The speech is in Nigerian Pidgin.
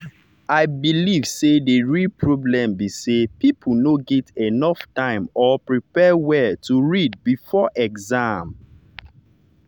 i believe say the real problem be say people no get enough time or prepare well to read before exam.